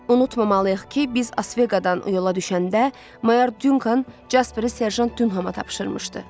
Unutmamalıyıq ki, biz Asveqadan yola düşəndə, Mayor Dyunkan Jasperi serjant Dyunkana tapşırmışdı.